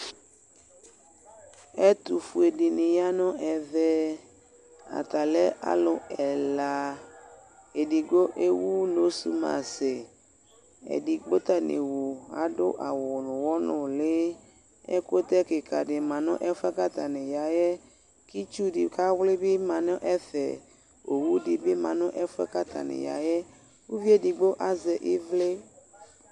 Ɛtʋfuedɩnɩ ya nʋ ɛvɛ , ata lɛ alʋ ɛla :edigbo ewu nosumasɩ , edigbo ta n'ewu adʋ awʋ n'ʋɣɔ nʋlɩ Ɛkʋtɛ kɩkadɩ ma n'ɛfʋɛ k'atanɩ ya yɛ; k'itsudɩ k'awlɩ bɩ ma n'ɛfɛ Owudɩ bɩ ma n'ɛfʋɛ k'atanɩ ya yɛ, uvi edigbo azɛ ɩvlɩ